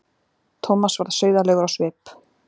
Thomas varð sauðalegur á svip.